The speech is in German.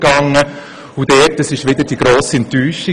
Auch da gab es wieder eine Enttäuschung: